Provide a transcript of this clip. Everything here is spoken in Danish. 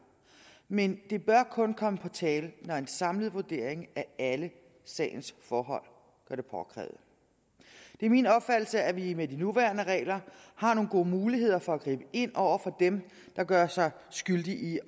men det bør kun komme på tale når en samlet vurdering af alle sagens forhold gør det påkrævet det er min opfattelse at vi med de nuværende regler har nogle gode muligheder for at gribe ind over for dem der gør sig skyldige i